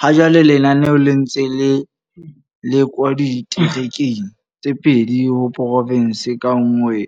Hajwale lenaneo le ntse le lekwa diterekeng tse pedi ho porofense ka nngwe